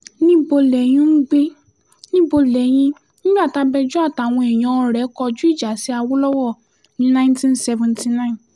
níbo lẹ́yìn ń gbé níbo lẹ́yìn nígbà tabẹjọ́ àtàwọn èèyàn rẹ̀ kọjú ìjà sí awolowo ní nineteen seventy nine